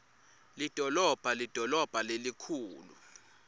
lidolobha lidolobha lelikhulu